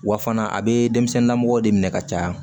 Wa fana a bɛ denmisɛnninla mɔgɔw de minɛ ka caya